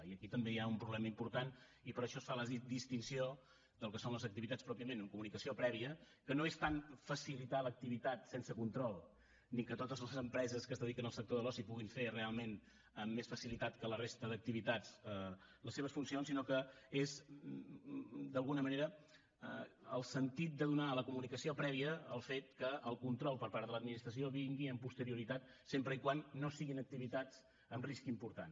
i aquí també hi ha un problema important i per això es fa la distinció del que són les activitats pròpiament amb comunicació prèvia que no és tant facilitar l’activitat sense control ni que totes les empreses que es dediquen al sector de l’oci puguin fer realment amb més facilitat que la resta d’activitats les seves funcions sinó que és d’alguna manera el sentit de donar a la comunicació prèvia el fet que el control per part de l’administració vingui amb posterioritat sempre que no siguin activitats amb risc important